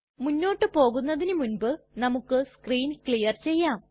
മുന്നോട്ട് പോകുന്നതിനു മുൻപ് നമുക്ക് സ്ക്രീൻ ക്ലിയർ ചെയ്യാം